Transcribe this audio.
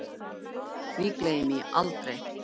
Því gleymi ég aldrei